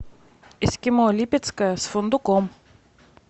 эскимо липецкое с фундуком